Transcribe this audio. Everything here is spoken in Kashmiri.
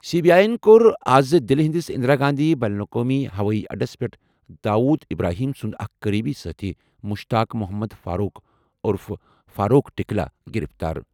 سی بی آی یَن کوٚر آز دِلہِ ہِنٛدِس اندرا گاندھی بین الاقوٲمی ہوٲیی اڈَس پٮ۪ٹھ داؤد ابراہیم سُنٛد اکھ قریبی سٲتھی مشتاق محمد فاروق عرف فاروق ٹکلا گِرِفتار ۔